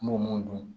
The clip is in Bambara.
N b'o mun dun